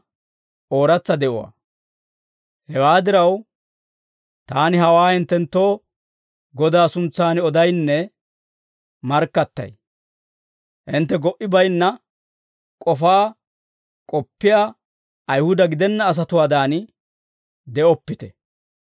Hewaa diraw, taani hawaa hinttenttoo Godaa suntsan odaynne markkattay. Hintte go"i bayinna k'ofaa k'oppiyaa Ayihuda gidenna asatuwaadan de'oppite.